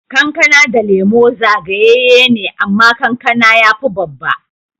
Kankana da Lemu zagayeye ne, amma kankana ya fi babba.